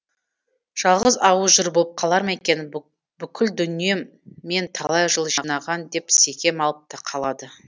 жалғыз ауыз жыр болып қалар ма екен бүкіл дүнием мен талай жыл жинаған деп секем алып та қалады